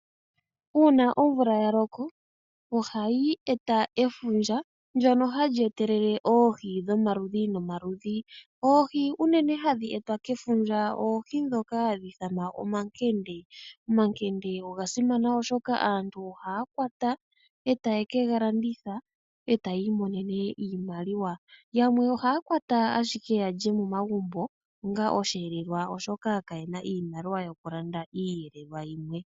Uuna omvula ya loko, ohayi eta efundja ndyono hali etelele oohi dhomaludhi nomaludhi. Oohi unene hadhi etwa kefundja, oohi ndhoka hadhi ithanwa omakende. Omakende unene oshoka aantu ohaa kwata e taye ke ga landitha e ta ya imonene iimaliwa. Yamwe ohaa kwata ashike ya lye momagumbo, oshoka kaye na iimaliwa yokulanda iiyelelwa yimwe.